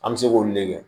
An bɛ se k'olu de kɛ